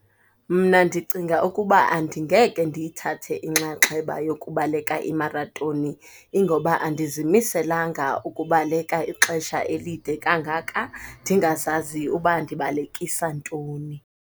Mna ndicinga ukuba andingeke ndiyithathe inxaxheba yokubaleka imaratoni. Ingoba andizimiselanga ukubaleka ixesha elide kangaka ndingazazi ukuba ndibalekisa ntoni.